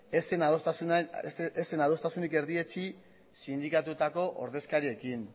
ez zen adostasunik erdietsi sindikatuetako ordezkariekin